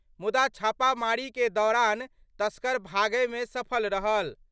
मुदा छापामारी के दौरान तस्कर भागय मे सफल रहल।